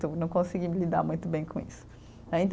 Não consegui lidar muito bem com isso, né